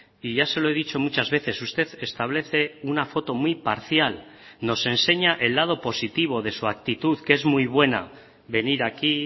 y ya se lo he dicho muchas veces usted establece una foto muy parcial nos enseña el lado positivo de su actitud que es muy buena venir aquí